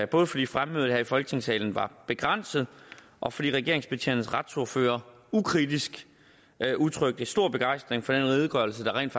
både fordi fremmødet her i folketingssalen var begrænset og fordi regeringspartiernes retsordførere ukritisk udtrykte stor begejstring for den redegørelse der rent